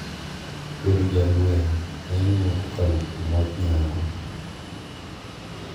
Bedo jalweny ne ing`iyo kokalo kuom wach nyang`o.